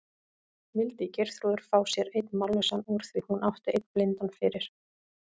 Vildi Geirþrúður fá sér einn mállausan úr því hún átti einn blindan fyrir?